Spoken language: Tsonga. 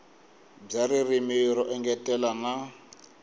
bya ririmi ro engetela na